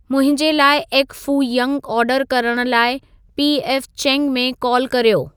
मुंहिंजे लाइ egg foo young आर्डरु करण लाइ पी एफ चैंग में कालु कर्यो